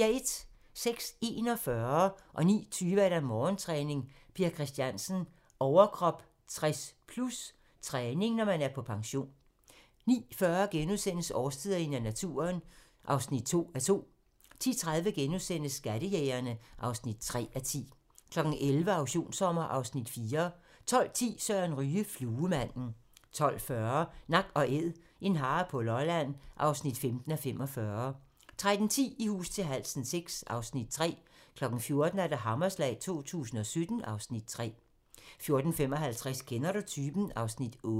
06:41: Morgentræning: Per Christiansen - overkrop 60+/træning, når man er på pension 09:20: Morgentræning: Per Christiansen - overkrop 60+/træning, når man er på pension 09:40: Årstiderne i naturen (2:2)* 10:30: Skattejægerne (3:10)* 11:00: Auktionssommer (Afs. 4) 12:10: Søren Ryge: Fluemanden 12:40: Nak & Æd - en hare på Lolland (15:45) 13:10: I hus til halsen VI (Afs. 3) 14:00: Hammerslag 2017 (Afs. 3) 14:55: Kender du typen? (Afs. 8)